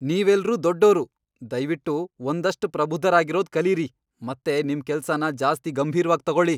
ನೀವೆಲ್ರೂ ದೊಡ್ಡೋರು! ದಯ್ವಿಟ್ಟು ಒಂದಷ್ಟ್ ಪ್ರಬುದ್ಧರಾಗಿರೋದ್ ಕಲೀರಿ ಮತ್ತೆ ನಿಮ್ ಕೆಲ್ಸನ ಜಾಸ್ತಿ ಗಂಭೀರ್ವಾಗ್ ತಗೊಳಿ.